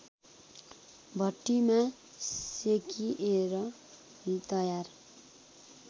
भट्टीमा सेकिएर तयार